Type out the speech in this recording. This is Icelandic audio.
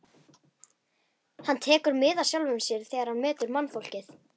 Hann tekur mið af sjálfum sér þegar hann metur mannfólkið.